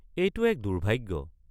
এইটো এক দুৰ্ভাগ্য।